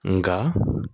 Nka